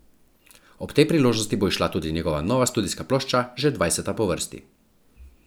Ob tej priložnosti bo izšla tudi njihova nova studijska plošča, že dvajseta po vrsti.